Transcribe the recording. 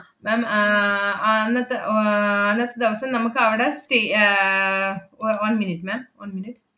ma'am ആഹ് അന്നത്തെ വ~ ആഹ് അന്നത്തെ ദെവസം നമ്മക്കവടെ stay ഏർ ഒ~ one minute ma'am one minute